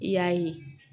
I y'a ye